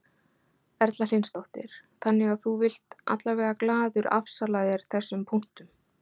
Erla Hlynsdóttir: Þannig að þú vilt allavega glaður afsala þér þessum punktum?